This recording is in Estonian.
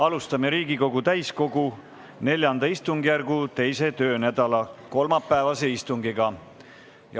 Alustame Riigikogu täiskogu IV istungjärgu 2. töönädala kolmapäevast istungit.